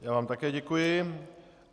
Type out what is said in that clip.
Já vám také děkuji.